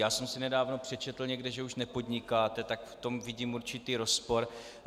Já jsem si nedávno přečetl někde, že už nepodnikáte, takže v tom vidím určitý rozpor.